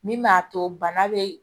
Min b'a to bana be